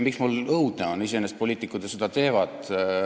Miks mul õudne on, sest iseenesest poliitikud ju nii teevad?